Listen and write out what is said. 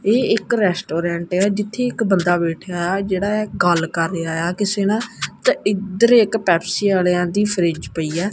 ਇਹ ਇੱਕ ਰੈਸਟੋਰੈਂਟ ਹੈ ਜਿੱਥੇ ਇੱਕ ਬੰਦਾ ਬੈਠਿਆ ਜਿਹੜਾ ਗੱਲ ਕਰ ਰਿਹਾ ਕਿਸੇ ਨਾਲ ਤੇ ਇਧਰ ਇੱਕ ਪੈਪਸੀ ਵਾਲਿਆਂ ਦੀ ਫਰਿਜ ਪਈ ਹੈ।